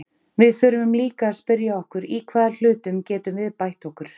Við þurfum líka að spyrja okkur í hvaða hlutum getum við bætt okkur?